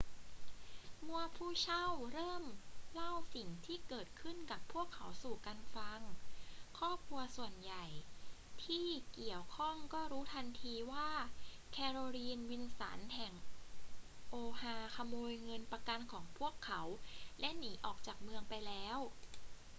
เมื่อผู้เช่าเริ่มเล่าสิ่งที่เกิดขึ้นกับพวกเขาสู่กันฟัง ครอบครัวส่วนใหญ่ที่เกี่ยวข้องก็รู้ทันทีว่า แคโรลีน วิลสัน แห่ง oha ขโมยเงินประกันของพวกเขาและหนีออกจากเมืองไปแล้ว